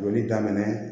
Joli daminɛ